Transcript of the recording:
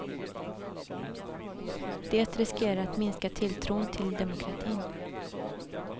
Det riskerar att minska tilltron till demokratin.